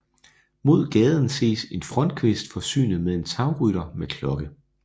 Mod gaden ses en frontkvist forsynet med en tagrytter med klokke